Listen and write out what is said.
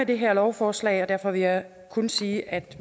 det her lovforslag og derfor vil jeg kun sige at